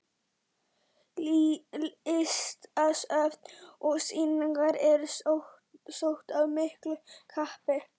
Listasöfn og sýningar eru sótt af miklu kappi.